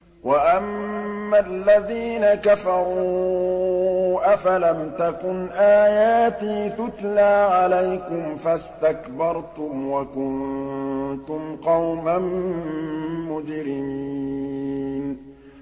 وَأَمَّا الَّذِينَ كَفَرُوا أَفَلَمْ تَكُنْ آيَاتِي تُتْلَىٰ عَلَيْكُمْ فَاسْتَكْبَرْتُمْ وَكُنتُمْ قَوْمًا مُّجْرِمِينَ